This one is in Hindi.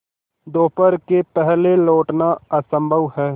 दोपहर के पहले लौटना असंभव है